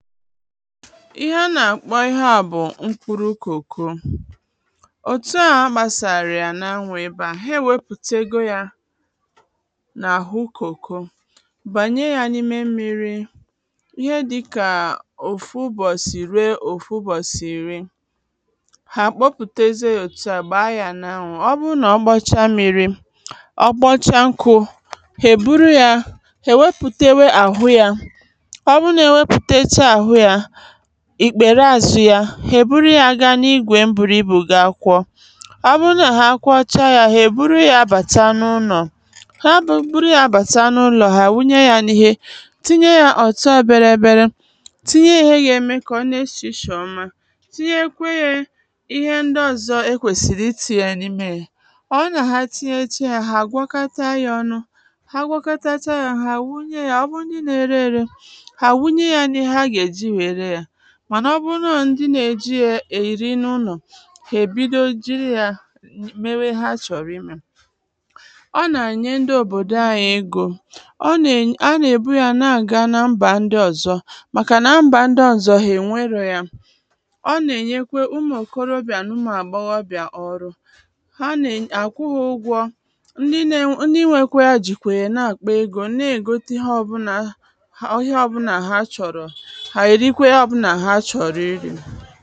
ihe a nà mkpọ ihe a bụ̀ mkpụrụ kòko òtu a gbàsàrò ya n’anwụ̇ ịbȧ ha ewepùte ego yȧ n’àhụ kòko bànye ya n’ime mmiri̇ ihe dịkà òfu ụbọ̀sì iri ruo òfu ụbọ̀sì ìri ha àkpọpùteze òtu à gbàa ya n’anwụ̇ ọbụrụ nà ọ gbọcha mmiri̇ ọ gbọcha nkụ̇ hè buru yȧ hè wepùtewe àhụ yȧ ìkpère àzụ ya hèburu ya gaa n’igwè mbùrù ibù gi akwọ ọ bụrụ nà ha akwọcha ya hèburu ya bàta n’ụlọ̀ ha bụrụ nà ha bàta n’ụlọ̀ ha àwụnye ya n’ihe tinye ya ọ̀tọ bịarị bịara tinye ihe ya ème kà ọ na esìshì ọma tinye kwe ye ihe ndị ọzọ e kwèsìrì itì ya n’ime ya ọ nà àhụnà ha tinyecha ya ha àgwọkata ya ọnụ ha gwọkatacha ya ha àwụnye ya ọ bụrụ nà ihe na-ere ere mànà ọ bụrụ nà ọ ndị nà-èji ya èyìri n’ụlọ̀ kà èbido jiri yȧ mewe ha chọ̀rọ̀ imė ọ nà-ànyihe ndị òbòdò anyị egȯ ọ nà-èbu ya n’àga n’mbà ndị ọ̀zọ màkà n’mbà ndị ọ̀zọ hà ènwerò ya ọ nà-ènyekwe umù ǹkoroọbịà n’ụmụ̀ àgbọghị ọbịà ọrụ ha nà-èny, àkwụghị ụgwọ̇ ndị nė ǹdị nwekwe ya jìkwèrè nà-àkpọ egȯ na-ègoti ha ọbụna ha ihe ọbụnà ha chọ̀rọ̀ ihe ìkwe ya bụ na ha chọrọ iri̇